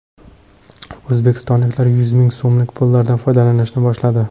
O‘zbekistonliklar yuz ming so‘mlik pullardan foydalanishni boshladi .